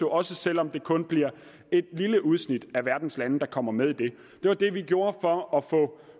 også selv om det kun bliver et lille udsnit af verdens lande der kommer med i den det var det vi gjorde for at få